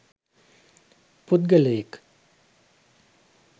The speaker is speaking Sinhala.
පුද්ගලයෙක්